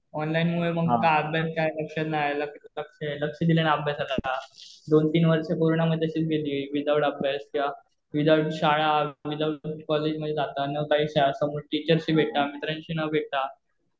Online मुळे काय अभ्यासात काय आता लक्ष नाय, लक्ष दिलं नाही अभ्यासाला. आता, दोन तीन वर्ष पूर्ण म्हणजे अशीच गेली विदाउट अभ्यास, विदाउट शाळा , विदाउट कॉलेज मध्ये जाता, न टीचर शी भेटता, मित्रांशी न भेटता.